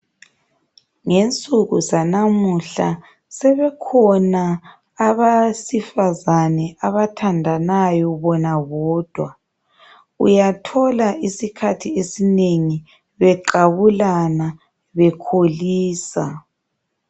Ngensuku zanamuhla sebekhona abasifazane abathandanayo bona bodwa. Uyathola isikhathi esinengi beqabulana bekholisa.